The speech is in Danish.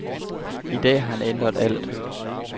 I dag har han ændret alt.